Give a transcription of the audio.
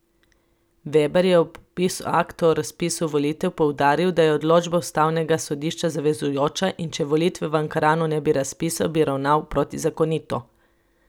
Veber je ob podpisu akta o razpisu volitev poudaril, da je odločba ustavnega sodišča zavezujoča in če volitev v Ankaranu ne bi razpisal, bi ravnal protizakonito.